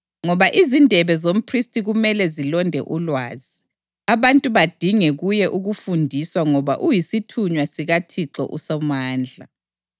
Ngoba izindebe zomphristi kumele zilonde ulwazi, abantu badinge kuye ukufundiswa ngoba uyisithunywa sikaThixo uSomandla.